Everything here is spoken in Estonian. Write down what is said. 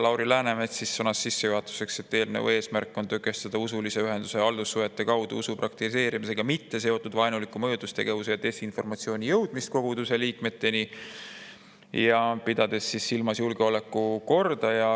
Lauri Läänemets sõnas sissejuhatuseks, et eelnõu eesmärk on tõkestada usulise ühenduse haldussuhete kaudu usu praktiseerimisega mitte seotud vaenuliku mõjutustegevuse ja desinformatsiooni jõudmist koguduse liikmeteni, pidades silmas julgeolekukorda.